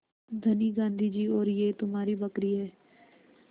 धनी गाँधी जी और यह तुम्हारी बकरी है